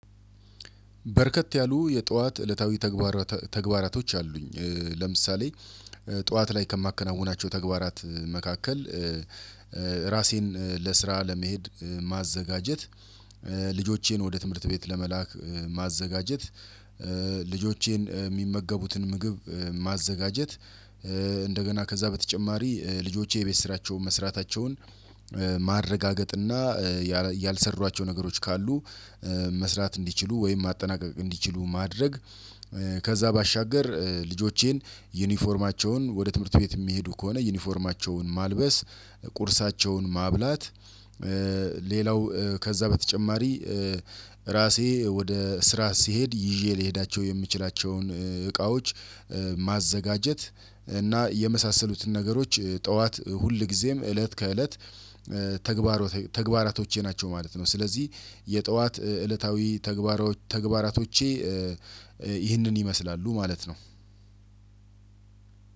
በርከት ያሉ የጧት እለታዊ ተግባራቶች አሉኝ ለምሳሌ ጧት ላይ ከማከናውናቸው ተግባራት መካከል ራሴን ለስራ ለመሄድ ማዘጋጀት ልጆቼን ወደ ትምህርት ቤት ለመላክ ማዘጋጀት ልጆቼን የሚመገቡትን ምግብ ማዘጋጀት እንደገና ከዛ በተጨማሪ ልጆቼ የቤት ስራቸውን መስራታቸውን ማረጋገጥና ያልሰሯቸው ነገሮች ካሉ መስራት እንዲችሉ ወይም ማጠናቀቅ እንዲችሉ ማድረግ ከዛ ባሻገር ልጆቼን ዩኒፎርማቸውን ወደ ትምህርት ቤት የሚሄዱ ከሆነ ዩኒፎርማቸውን ማልበስ ቁርሳቸውን ማብላት ሌላው ከዛ በተጨማሪ ራሴ ወደ ስራ ስሄድ ይዤ ልሄዳቸው የምችላቸውን እቃዎች ማዘጋጀት እና የመሳሰሉትን ነገሮች ጠዋት ሁል ጊዜም እለት ከእለት ተግባራቶቼ ናቸው ማለት ነው። ስለዚህ የጠዋት እለታዊ ተግባራቶቼ ይህንን ይመስላሉ ማለት ነው።